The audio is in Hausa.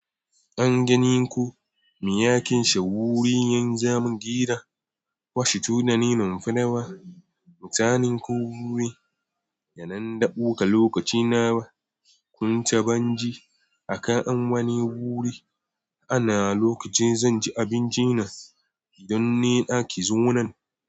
An gani ko miyakin shagwuri yan zamu gira? Washu tunanin fanawa. Mutanen kurkuku yana ndabuka lokaci nawa? Kun sa ban ji a kafan gani guri ana lokacin zan ji abincin nan? Gidan nena ki zo nan.